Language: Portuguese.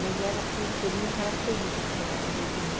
Mas era assim, um cheirinho característico lá da região.